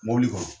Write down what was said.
Mɔbili kɔnɔ